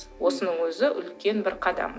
осының өзі үлкен бір қадам